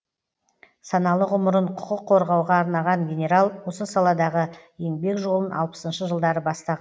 саналы ғұмырын құқық қорғауға арнаған генерал осы саладағы еңбек жолын алпысыншы жылдары бастаған